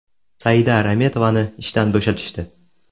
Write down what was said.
Saida Rametovani ishdan bo‘shatishdi.